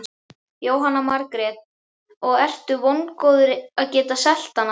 Jóhanna Margrét: Og ertu vongóður að geta selt hana?